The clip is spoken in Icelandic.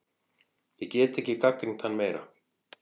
Ég get ekki gagnrýnt hann meira.